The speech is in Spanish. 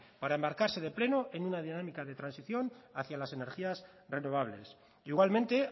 para embarcarse de pleno en una dinámica de transición hacia las energías renovables igualmente